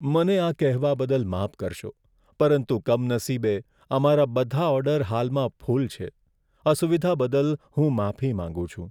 મને આ કહેવા બદલ માફ કરશો, પરંતુ કમનસીબે, અમારા બધા ઓર્ડર હાલમાં ફૂલ છે. અસુવિધા બદલ હું માફી માંગું છું.